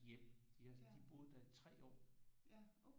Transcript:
Hjem de boede der i 3 år